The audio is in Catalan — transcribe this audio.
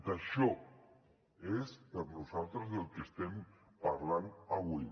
d’això és per a nosaltres del que estem parlant avui